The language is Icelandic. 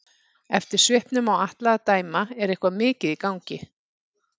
Eftir svipnum á Atla að dæma er eitthvað mikið í gangi.